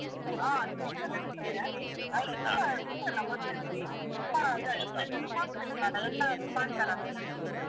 ಹಾ cake ಎಲ್ಲ ಇರ್ತದೆ ಆದ್ರೆ ತುಂಬಾ ತುಂಬಲ್ಲ ತುಂಬಾ ಇದಾಗಿದೆ ಮತ್ತೆ ಈಗೀಗ competition ಅಲ್ಲ, ಎಲ್ಲರೂ ಮಾಡ್ತಾರಲ್ಲ ಈಗ cake .